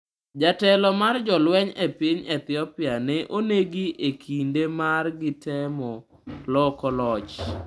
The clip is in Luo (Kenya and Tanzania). Jatelo mar jolweny e piny Ethiopia ne onegi e kinde mane gitemo loko loch